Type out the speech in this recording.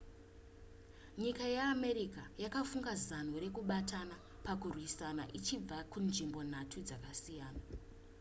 nyika yeamerica yakafunga zano rekubatana pakurwisa ichibva kunzvimbo nhatu dzakasiyana